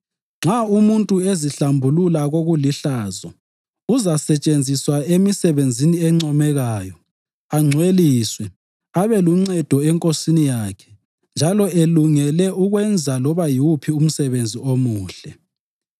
Nxa umuntu ezihlambulula kokulihlazo, uzasetshenziswa emisebenzini encomekayo, angcweliswe, abe luncedo eNkosini yakhe njalo elungele ukwenza loba yiwuphi umsebenzi omuhle.